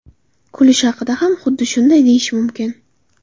Kulish haqida ham xuddi shunday deyish mumkin.